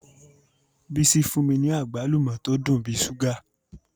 Bisi fun mi ni agbalumo to dun bi ṣuga